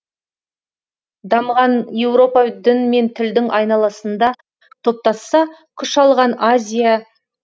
дамыған еуропа дін мен тілдің айналасында топтасса күш алған азия